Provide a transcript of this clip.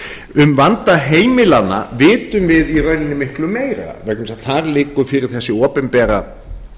um vanda heimilanna vitum við í rauninni miklu meira vegna þess að þar liggur fyrir þessi opinbera